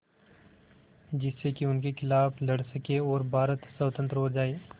जिससे कि उनके खिलाफ़ लड़ सकें और भारत स्वतंत्र हो जाये